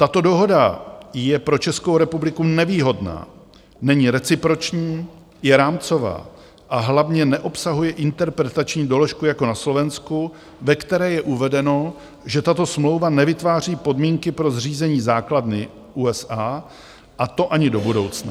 Tato dohoda je pro Českou republiku nevýhodná, není reciproční, je rámcová, a hlavně neobsahuje interpretační doložku jako na Slovensku, ve které je uvedeno, že tato smlouva nevytváří podmínky pro zřízení základny USA, a to ani do budoucna.